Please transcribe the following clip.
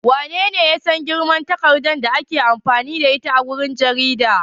Wanene ya san girman takardar da ake amfani da ita wajen jarida?